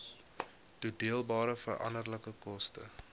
toedeelbare veranderlike koste